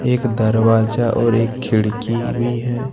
एक दरवाजा और एक खिड़की भी है।